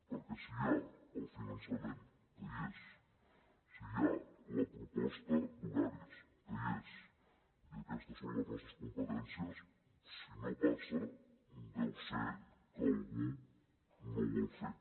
perquè si hi ha el finançament que hi és si hi ha la proposta d’horaris que hi és i aquestes són les nostres competències si no passa deu ser que algú no ho vol fer